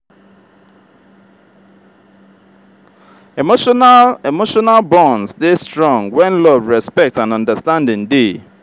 emotional emotional bonds dey strong when love respect and understanding dey. um